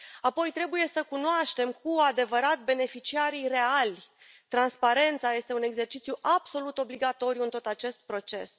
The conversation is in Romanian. Apoi trebuie să cunoaștem cu adevărat beneficiarii reali. Transparența este un exercițiu absolut obligatoriu în tot acest proces.